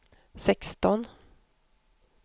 sexton